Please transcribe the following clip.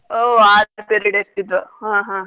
ಓ ಆರ್ period ಇರ್ತಿದ್ವ್ ಹಾ ಹಾ.